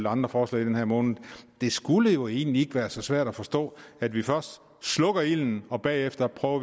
andre forslag i den her måned det skulle jo egentlig ikke være så svært at forstå at vi først slukker ilden og bagefter prøver